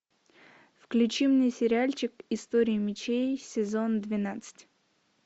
включи мне сериальчик история мечей сезон двенадцать